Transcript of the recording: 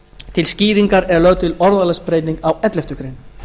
til skýringar er lögð til orðalagsbreyting á elleftu grein